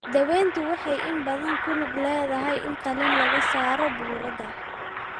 Daaweyntu waxay inta badan ku lug leedahay in qaliin laga saaro burada.